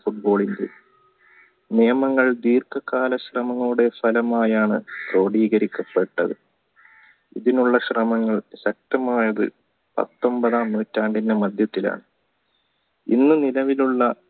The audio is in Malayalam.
football നിയമങ്ങൾ ദീർഘകാല ശ്രമങ്ങളുടെ ഫലമായാണ് ലോതീകരിക്കപ്പെട്ടത് ഇതിനുള്ള ശ്രമങ്ങൾ ശക്തമായത് പത്തൊമ്പതാം നൂറ്റാണ്ടിണ്ടെ മധ്യത്തിലാണ് ഇന്ന് നിലവിലുള്ള